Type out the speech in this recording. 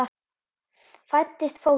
Fæddist fótur.